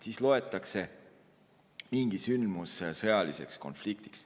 Siis loetakse mingi sündmus sõjaliseks konfliktiks.